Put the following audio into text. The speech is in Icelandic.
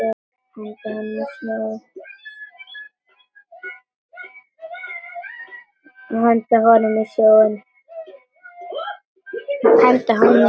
Henda honum í sjóinn!